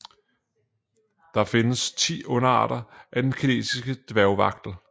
Der findes 10 underarter af den kinesiske dværgvagtel